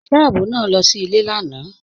Ọṣìṣẹ̀ ààbò náà lọ sí ilẹ̀ lànà.